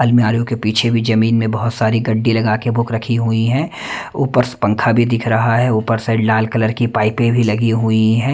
अलमारी के पीछे भी जमीन में बहुत सारी गड्डी लगा के बुक रखी हुई हैं ऊपर पंखा भी दिख रहा है ऊपर साइड लाल कलर की पाइपें भी लगी हुई है।